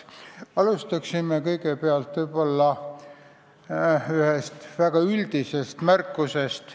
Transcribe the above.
Alustan ühe üldise märkusega.